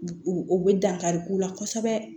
U bɛ dankari k'u la kosɛbɛ